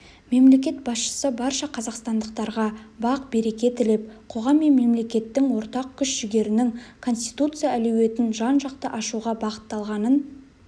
мемлекет басшысы барша қазақстандықтарға бақ-береке тілеп қоғам мен мемлекеттің ортақ күш-жігерінің конституция әлеуетін жан-жақты ашуға бағытталғанын